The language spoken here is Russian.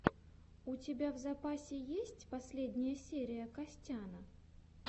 у тебя в запасе есть последняя серия костяна